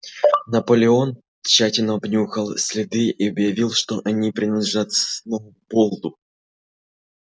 наполеон тщательно обнюхал следы и объявил что они принадлежат сноуболлу